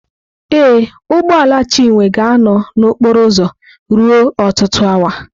Ee, ụgbọ ala Chinwe ga-anọ na okporo ụzọ ruo ọtụtụ awa.